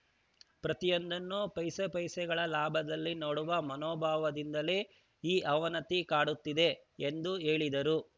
ಪ್ರತಿಯೊಂದನ್ನೂ ಪೈಸೆಪೈಸೆಗಳ ಲಾಭದಲ್ಲಿ ನೋಡುವ ಮನೋಭಾವದಿಂದಲೇ ಈ ಅವನತಿ ಕಾಡುತ್ತಿದೆ ಎಂದು ಹೇಳಿದರು